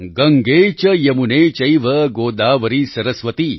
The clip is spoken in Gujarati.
ગંગે ચ યમુને ચૈવ ગોદાવરી સરસ્વતિ